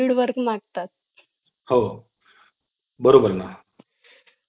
आणि अशा स्थितीत कंपन्यांची सुरक्षित digital पर्याय व सेवांचा अवलंब करत सातत्या ने software हे